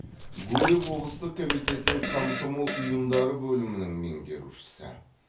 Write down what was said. гурьев облыстық комитетінің комсомол ұйымдары бөлімінің меңгерушісі